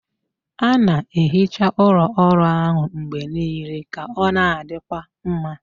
A na-ehicha ụlọ ọrụ ahụ mgbe niile ka ọ na-adịkwa mma.